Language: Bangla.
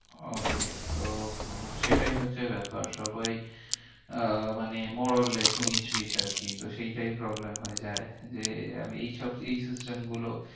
Okay তো আহ সেটাই হচ্ছে ব্যাপার। সবাই আহ মানে moralless উনিশ বিস্ আরকি। তো সেইটাই problem হয় যায় যে আর এইসব এই system গুলো